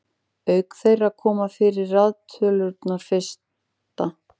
auk þeirra koma fyrir raðtölurnar fyrsta